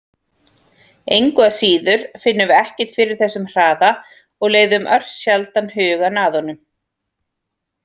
Engu að síður finnum við ekkert fyrir þessum hraða og leiðum örsjaldan hugann að honum!